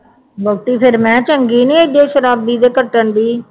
ਵਹੁਟੀ ਫੇਰ ਮੈਂ ਚੰਗੀ ਨਹੀਂ ਅੱਗੇ ਸ਼ਰਾਬੀ ਦੇ ਕੱਟਣ ਡੇਈ